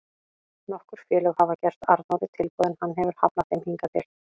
Nokkur félög hafa gert Arnóri tilboð en hann hefur hafnað þeim hingað til.